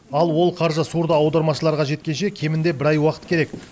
ал ол қаржы сурдоаудармашыларға жеткенше кемінде бір ай уақыт керек